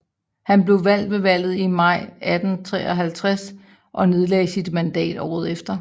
Han blev valgt ved valget i maj 1853 og nedlagde sit mandat året efter